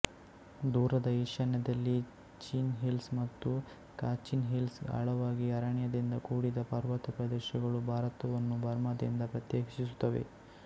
ದೂರದ ಈಶಾನ್ಯದಲ್ಲಿ Chin Hills ಮತ್ತು ಕಾಚಿನ್ ಹಿಲ್ಸ್ ಆಳವಾಗಿ ಅರಣ್ಯದಿಂದ ಕೂಡಿದ ಪರ್ವತ ಪ್ರದೇಶಗಳು ಭಾರತವನ್ನು ಬರ್ಮಾದಿಂದ ಪ್ರತ್ಯೇಕಿಸುತ್ತವೆ